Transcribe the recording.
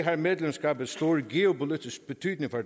har medlemskabet stor geopolitisk betydning